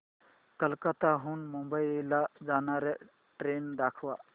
कोलकाता हून मुंबई ला जाणार्या ट्रेन दाखवा